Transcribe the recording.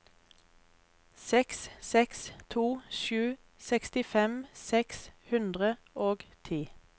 seks seks to sju sekstifem seks hundre og ti